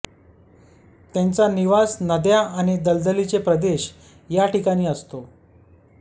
त्यांचा निवास नद्या आणि दलदलीचे प्रदेश या ठिकाणी असतो